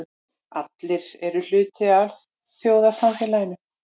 Allir eru hluti af alþjóðasamfélaginu.